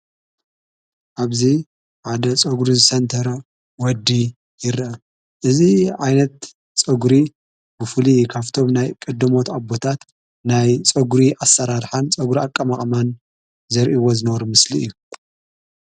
ኣብዚ ዓደ ጾጕሪ ዝሴንተረ ወዲ ይረ እዝ ኣይነት ፆጕሪ ብፉሊ ካፍቶም ናይ ቕድሞት ኣቦታት ናይ ፆጕሪ ኣሠራርኃን ፀጕሪ ኣቀ መቕማን ዘርኢይዎ ዝነበረ ምስሊ እዩ።